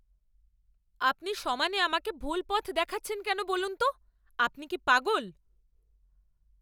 আপনি সমানে আমাকে ভুল পথ দেখাচ্ছেন কেন বলুন তো? আপনি কি পাগল?